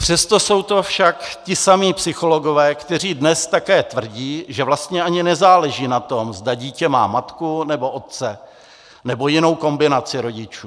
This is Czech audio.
Přesto jsou to však ti samí psychologové, kteří dnes také tvrdí, že vlastně ani nezáleží na tom, zda dítě má matku, nebo otce, nebo jinou kombinaci rodičů.